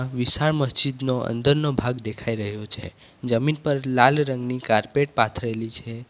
વિશાળ મસ્જિદનો અંદરનો ભાગ દેખાઈ રહ્યો છે જમીન પર લાલ રંગની કાર્પેટ પાથરેલી છે.